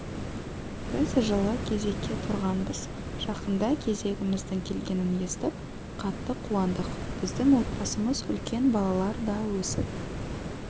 біз жылы кезекке тұрғанбыз жақында кезегіміздің келгенін естіп қатты қуандық біздің отбасымыз үлкен балалар да өсіп